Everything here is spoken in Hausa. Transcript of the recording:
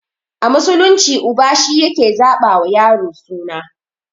A musulunci uba shi yake zaɓa wa yaro suna